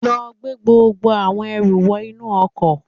Lọ gbé gbogbo àwọn ẹrù wọ inú ọkọ̀